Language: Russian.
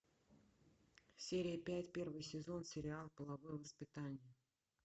серия пять первый сезон сериал половое воспитание